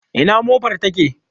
Ina mofar take?